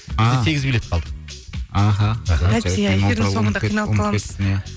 ааа сегіз билет қалды аха